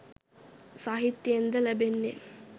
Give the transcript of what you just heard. සාහිත්‍යයෙන් ද ලැබෙන්නේ.